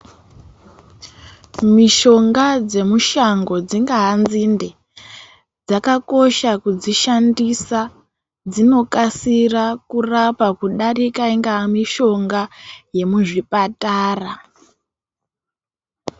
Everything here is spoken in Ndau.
Mishonga dzemushango dzingaa nzinde, dzakakosha kudzishandisa. Dzinokasira kurapa kudarika ingaa mishonga yemuzvipatara.